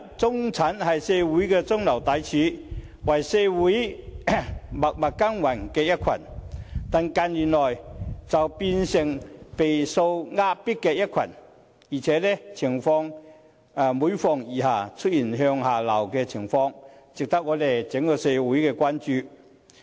中產本是社會的中流砥柱，是為社會默默耕耘的一群，但近年卻變成備受壓迫的一群，而且情況更每況愈下，出現向下流的現象，值得整個社會關注。